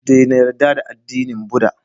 Dena yarda da addinin buda